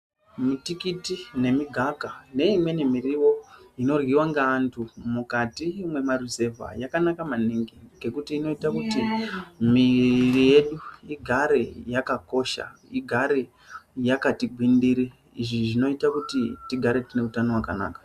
Mitikiti nemigaka neimweni miriwo inoryiwa ngeantu mukati mwemaruzeva yakanaka maningi ngekuti inoita kuti miri yedu igare yakakosha igare yakati gwindiri izvi zvinoita kuti tigare tine utano hwakanaka .